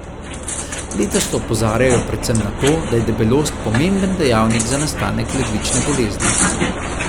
Letos opozarjajo predvsem na to, da je debelost pomemben dejavnik za nastanek ledvične bolezni.